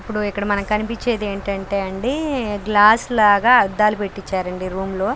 ఇప్పుడు ఇక్కడ మనకు కనిపించేది ఏంటంటే అండి గ్లాస్ లాగా అద్దాలు పెట్టించారండి రూమ్లో లో.